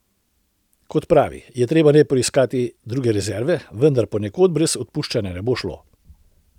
Kot pravi, je treba najprej poiskati druge rezerve, vendar ponekod brez odpuščanja ne bo šlo.